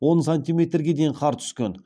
он сантиметрге дейін қар түскен